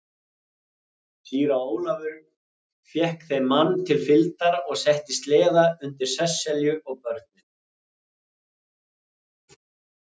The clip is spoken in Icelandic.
Síra Ólafur fékk þeim mann til fylgdar og setti sleða undir Sesselju og börnin.